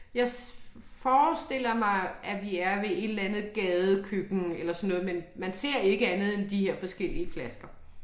Jeg forestiller mig at vi er ved et eller andet gadekøkken eller sådan noget, men man ser ikke andet de her forskellige flasker